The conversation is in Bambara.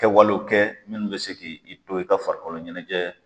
Kɛ wale kɛ munnu bi se k'i to, i ka farikolo ɲɛnajɛ